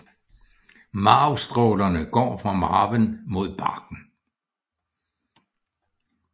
Marvstrålerne går fra marven mod barken